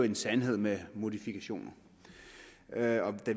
en sandhed med modifikationer da